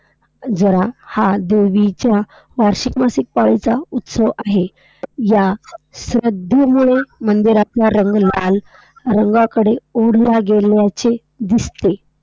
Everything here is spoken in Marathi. जरा हा देवीच्या वार्षिक मासिक पाळीचा उत्सव आहे. ह्या श्रद्धेमुळे मंदिरातला रंग लाल रंगाकडे ओढला गेल्याचे दिसते.